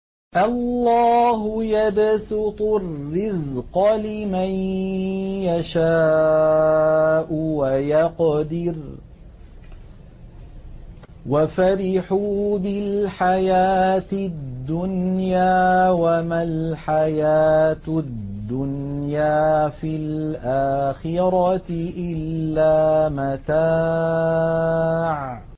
اللَّهُ يَبْسُطُ الرِّزْقَ لِمَن يَشَاءُ وَيَقْدِرُ ۚ وَفَرِحُوا بِالْحَيَاةِ الدُّنْيَا وَمَا الْحَيَاةُ الدُّنْيَا فِي الْآخِرَةِ إِلَّا مَتَاعٌ